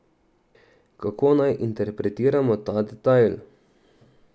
Kako naj interpretiramo ta detajl?